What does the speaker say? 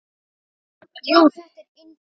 Jú, þetta er indælt